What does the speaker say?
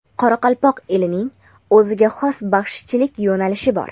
qoraqalpoq elining o‘ziga xos baxshichilik yo‘nalishi bor.